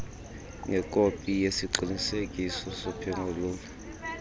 ngekopi yesiqinisekiso sokuphengulula